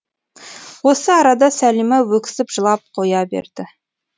осы арада сәлима өксіп жылап қоя берді